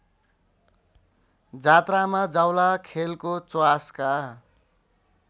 जात्रामा जावलाखेलको च्वासका